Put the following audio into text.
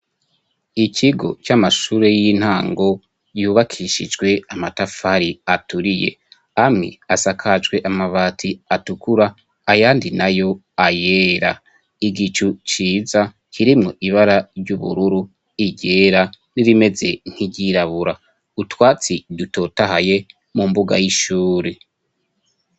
Ikigo ,c'amashure y'intango yubakishijwe amatafari aturiye ,amwe asakajwe amabati atukura, ayandi nayo ayera, igicu ciza kirimwo ibara ry'ubururu, iryera ,n'irimeze nk'iryirabura, utwatsi dutotahaye mu mbuga y'ishuri.